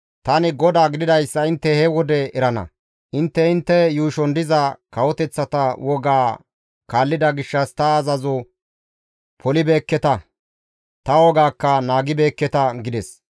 Tani GODAA gididayssa intte he wode erana. Intte intte yuushon diza kawoteththata wogaa kaallida gishshas ta azazo polibeekketa; ta wogaakka naagibeekketa» gides.